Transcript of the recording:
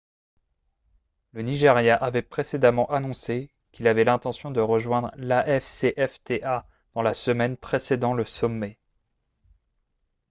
le nigeria avait précédemment annoncé qu'il avait l'intention de rejoindre l'afcfta dans la semaine précédant le sommet